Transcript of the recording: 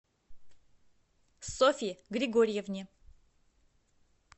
софье григорьевне